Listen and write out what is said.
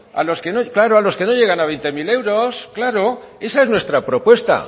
claro a los que no llegan a veinte mil euros claro esa es nuestra propuesta